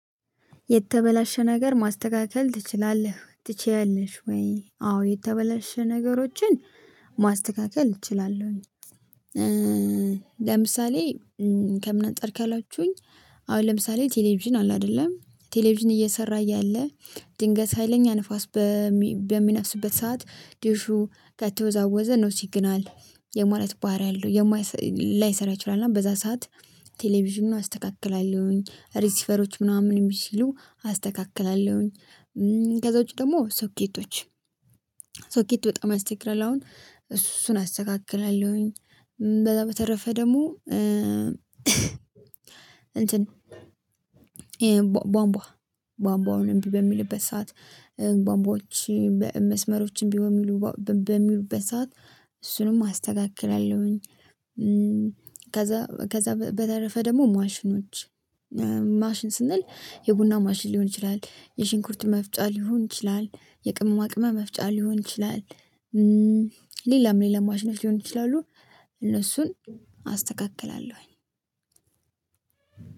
የተበላሸ ነገር ማስተካከል ትችላለህ ትችያለሽ? ወይ አዎ የተበላሸ ነገሮችን ማስተካከል እችላለሁ። ለምሳሌ ከምን አንጠር አላችሁኝ አሁን ለምሳሌ ቴሌቪዥን አለ አይደለም ቴሌቪዥን እየሰራ እያለ ድንገት ሀይለኛ ንፋስ በሚነፍስበት ሰዓት ዲሹ ከተወዛወዘ ነው ሲግናል የማለት ባህሪ አለው። ላይሰራ ይችላል እና በዛ ሰዓት ቴሌቪዥን አስተካክላለሁኝ ሪስፈሮች ምናምን የሚችሉ አስተካክላለሁኝ። ከዛ ውጪ ደግሞ ሶኬቶች ሶኬት በጣም አስቸግረላውን እሱን አስተካክላለሁኝ። በተረፈ ደግሞ እንትን ቧንቧ ቧንቧውን እምቢ በሚልበት ሰዓት ቧንቧዎች በመስመሮችም ቢሆን በሚሉ በሚሉበት ሰዓት እሱንም አስተካክላለሁኝ። ከዛ ከዛ በተረፈ ደግሞ ማሽኖች ማሽን ስንል የቡና ማሽን ሊሆን ይችላል የሽንኩርት መፍጫ ሊሆን ይችላል የቅመማ ቅመማ መፍጫ ሊሆን ይችላል። ሌላም ሌላ ማሽነሽ ሊሆን ይችላሉ እነሱን አስተካክላለሁኝ።